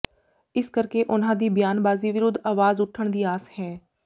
ਇਸ ਕਰਕੇ ਉਨ੍ਹਾਂ ਦੀ ਬਿਆਨਬਾਜ਼ੀ ਵਿਰੁੱਧ ਆਵਾਜ਼ ਉਠਣ ਦੀ ਆਸ ਹੈ